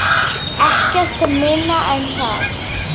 Ekkert minna en það!